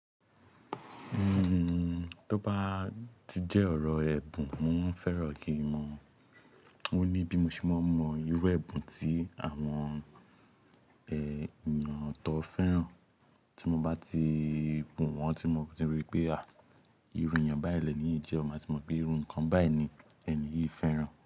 Hmmm, tó bá ti jẹ́ ọ̀rọ̀ ẹ̀bùn, mo fẹ́ràn kí i mọ̀. Ó ní bí mo ṣe máa mọ irú ẹ̀bùn tí àwọn eh eyàn tọ́ fẹ́ràn, tí mo bá ti gun wọ́n, tí mo bá ti rí pé à, irú èèyàn báyìí lẹ́ni yii je máa ti mọ̀ pé irú nǹkan báyìí ni èni yìí fẹ́ràn.